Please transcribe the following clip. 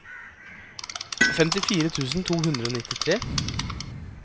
femtifire tusen to hundre og nittitre